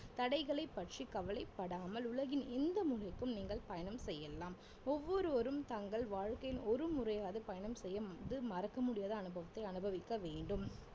தடைகளைப் பற்றி கவலைப்படாமல் உலகின் எந்த மூலைக்கும் நீங்கள் பயணம் செய்யலாம் ஒவ்வொருவரும் தங்கள் வாழ்க்கையில் ஒரு முறையாவது பயணம் செய்யும் போது மறக்க முடியாத அனுபவத்தை அனுபவிக்க வேண்டும்